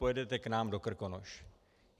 Pojedete k nám do Krkonoš.